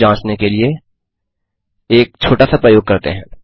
यह जाँचने के लिए गएक छोटा सा प्रयोग करते हैं